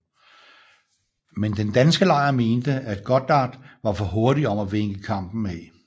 Men den danske lejr mente at Goddard var for hurtig om at vinke kampen af